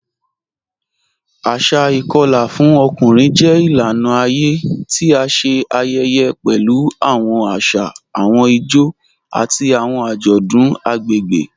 Asà ìkọla fún ọkùnrin jẹ ilànà ayé tí à ṣé ayẹyẹ pẹ̀lú awọn àṣà, awọn ìjó, àti awọn ajọdun agbegbe.